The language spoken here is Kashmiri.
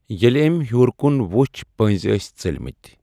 ییٚلہِ أمۍ ہیوٚر کُن ۄٔچھ پٔنٛزۍ ٲسۍ ژٔلمٕتۍ۔